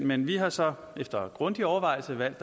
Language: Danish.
men vi har så efter grundig overvejelse valgt